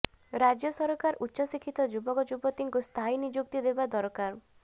ରାଜ୍ୟ ସରକାର ଉଚ୍ଚଶିକ୍ଷିତ ଯୁବକଯୁବତୀଙ୍କୁ ସ୍ଥାୟୀ ନିଯୁକ୍ତି ଦେବା ଦରକାର